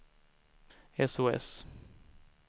sos